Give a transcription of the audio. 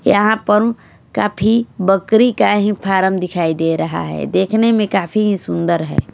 यहां पर काफी बकरी का ही फॉर्म दिखाई दे रहा है देखने में काफी ही सुंदर है।